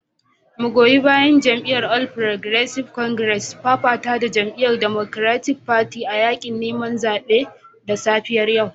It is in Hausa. Magoya bayan jam'iyyar All Progressive Congress sun fafata da jama'iyyar Democratic Party a yakin neman zaben da safiyar yau